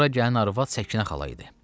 Bura gələn arvad Səkinə xala idi.